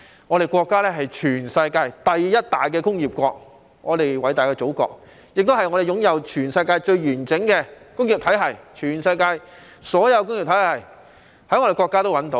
我們國家是全世界第一大工業國，我們偉大的祖國擁有全世界最完整的工業體系，全世界所有工業體系也可在我們國家內找到。